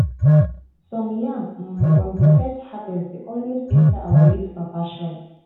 some yam um from de first harvest de always enter our late papa shrine.